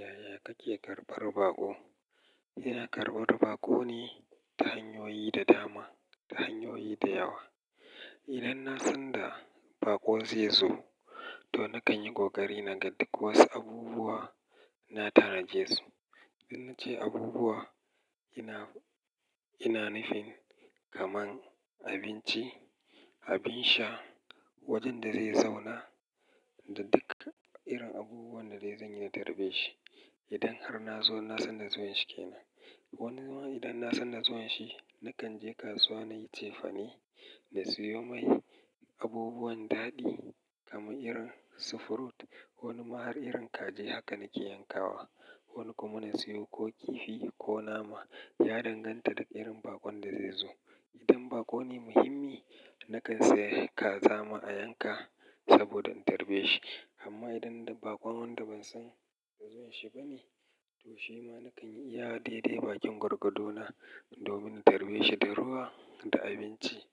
Yaya kake karɓar baƙo? Ina karɓar baƙo ne ta hanyoyi da dama, ta hanyoyi da yawa. Idan na san da baƙo zai zo, to na kan yi ƙoƙari na ga duk wasu abubuwa na tanaje su. Dan na ce abubuwa, ina, ina nufin kamar abinci, abin sha, wajen da zai zauna da duka irin abubuwan da zanyi na tarbe shi. Idan har na zo na san da zuwan shi ke nan. Wani zaman, idan na san da zuwan shi, na kan je kasuwa na yi cefane, na siyo mai abubuwan daɗi kamar irin sifrut, wani ma har irin kaji haka nake yankawa. Wani kuma na siyo ko kifi ko nama ya danganta da irin baƙon da zai zo. Idan baƙo ne muhimmi, na kan saye kaza ma a yanka saboda in tarbe shi. Amma idan da baƙon wanda ban san da zuwan shi bane, to shi ma na kan yi iya daidai bakin gwagwago na domin na tarbe shi da ruwa da abinci.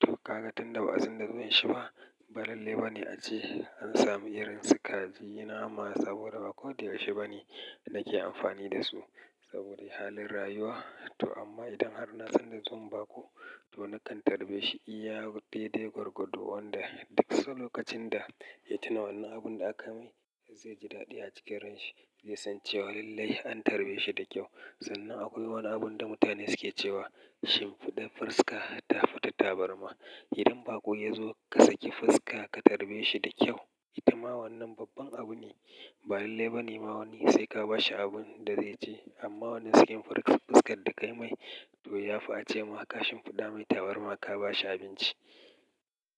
To ka ga tunda ba'a san da zuwan shi ba, ba lallai ba ne ace an sami irin su kaji, nama saboda baƙo da yaushe ba ne nake amfani da su saboda ya yi halin rayuwa. To amma idan har na san da zuwan baƙo, to na kan tarbe shi iya daidai gwargwado wanda duk sau lokacin da ya tuna wannan abun da aka mai zai ji daɗi a cikin ranshi. Zai san cewa lallai an tarbe shi da kyau. Sannan akwai wani abun da mutane suke cewa shimfiɗa fuska ta fi ta tabarma. Idan baƙo ya zo ka saki fuska ka tarbe shi da kyau. Ita ma wannan babban abu ne. Ba lallai ba ne ma wannan sai ka ba shi abin da zai ci. Amma wannan sakin fuskar da ka yi mai, to ya fi a ce ma kashim fiɗa mai tabarma ka ba shi abinci.